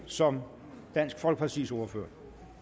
som dansk folkepartis ordfører